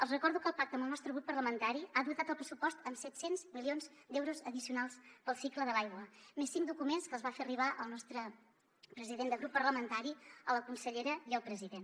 els recordo que el pacte amb el nostre grup parlamentari ha dotat el pressupost amb set cents milions d’euros addicionals per al cicle de l’aigua més cinc documents que els va fer arribar el nostre president de grup parlamentari a la consellera i al president